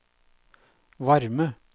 varme